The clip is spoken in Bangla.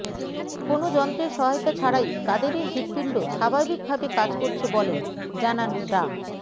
কোনো যন্ত্রের সহায়তা ছাড়াই কাদেরের হৃদপিণ্ড স্বাভাবিকভাবে কাজ করছে বলেন জানান ডা